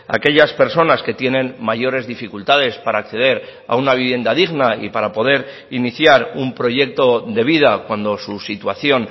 aquellas personas que tienen mayores dificultades para acceder a una vivienda digna y para poder iniciar un proyecto de vida cuando su situación